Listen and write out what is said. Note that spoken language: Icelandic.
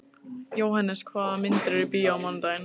Jóhannes, hvaða myndir eru í bíó á mánudaginn?